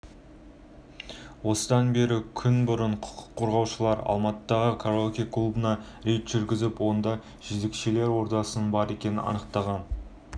қажеті жоқ деп есептейміз этикалық кодекстің талаптарына сәйкес мемлекеттік қызметкер жұмыстан тыс уақытта көпшілік мақұлдаған